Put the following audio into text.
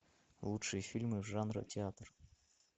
лучшие фильмы жанра театр